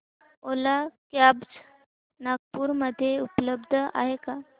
ओला cabs Nagpur मध्ये उपलब्ध आहे का